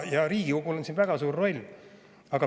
Ja Riigikogul on siin väga suur roll.